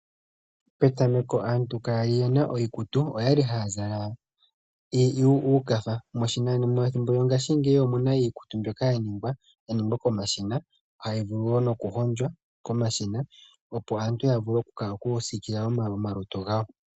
Petameko aantu kakwali yena iikutu, okwali haya zala uukatha. Methimbo lyongashingeyi omuna iikutu mbyoka yaningwa yaningwa komashina, hayi vulu wo nokuhondjwa komashina, opo aantu yavule okusiikila omalutu gawo.